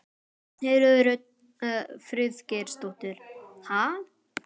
Ragnheiður Rut Friðgeirsdóttir: Ha?